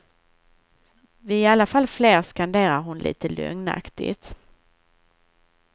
Vi är i alla fall fler, skanderar hon lite lögnaktigt.